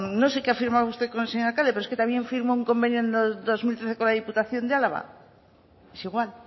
no sé qué ha firmado usted con el señor alcalde pero es que también firmó un convenio en el dos mil cinco con la diputación de álava es igual